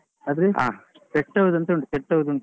pet house ಅಂತ ಉಂಟು pet house ಉಂಟು.